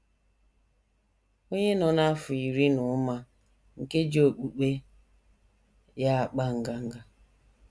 Onye Nọ N’afọ Iri Na Ụma Nke Ji Okpukpe Ya Akpa Nganga